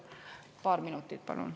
Palun paar minutit juurde.